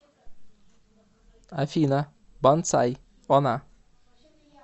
афина бонсай она